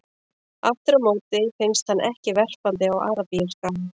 Aftur á móti finnst hann ekki verpandi á Arabíuskaga.